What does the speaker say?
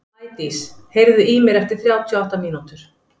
Maídís, heyrðu í mér eftir þrjátíu og átta mínútur.